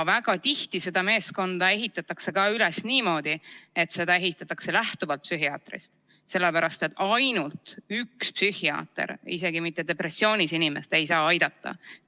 Väga tihti ehitatakse see meeskond üles lähtuvalt psühhiaatrist, kuid psühhiaater üksinda ei saa isegi mitte depressioonis inimest aidata.